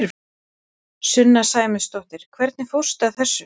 Sunna Sæmundsdóttir: Hvernig fórstu að þessu?